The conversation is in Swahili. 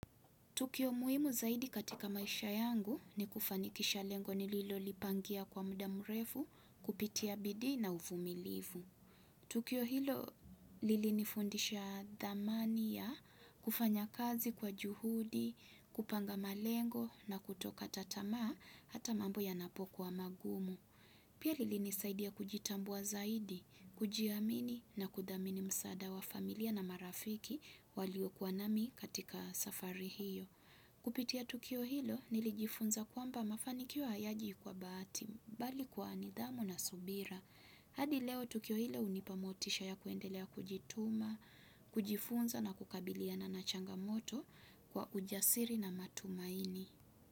Tukio muhimu zaidi katika maisha yangu ni kufanikisha lengo nililolipangia kwa muda mrefu kupitia bidii na uvumilivu. Tukio hilo lilinifundisha dhamani ya kufanya kazi kwa juhudi, kupanga malengo na kutokata tamaa hata mambo yanapokuwa magumu. Pia lilinisaidia kujitambua zaidi, kujiamini na kudhamini msaada wa familia na marafiki waliokuwa nami katika safari hiyo. Kupitia tukio hilo nilijifunza kwamba mafanikio hayaji kwa bahati, bali kwa nidhamu na subira. Hadi leo tukio hilo hunipa motisha ya kuendelea kujituma, kujifunza na kukabiliana na changamoto kwa ujasiri na matumaini.